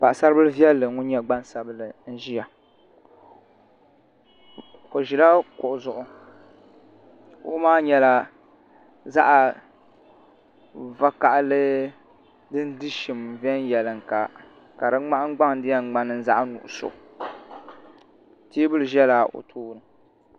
Paɣasari bili viɛlli ŋun nyɛ gban sabinli n ʒiya o ʒila kuɣu zuɣu kuɣu maa nyɛla zaɣ vakaɣali din di shim viɛnyɛla ka di ŋmahandbaŋ di yɛn ŋmani zaɣ nuɣso teebuli ʒɛla o tooni